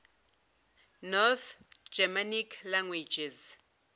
north germanic languages